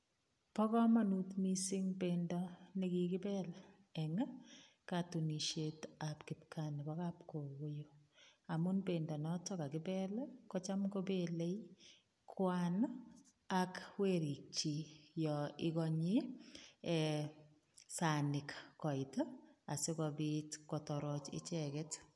Bo kamanut mising bendo ne kigibel eng katunisietab kipkaa nebokap kogoiyo amu bendo noto kagibel kocham kobelei kwan ak werikchik yo iganye ee sanik koit asigopit kotoroch icheget.